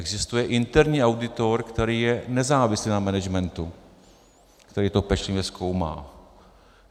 Existuje interní auditor, který je nezávislý na managementu, který to pečlivě zkoumá.